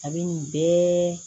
A bɛ nin bɛɛ